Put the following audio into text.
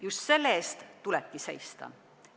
Just selle eest tulebki seista.